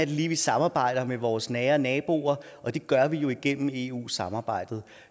vi vi samarbejder med vores nære naboer og det gør vi jo igennem eu samarbejdet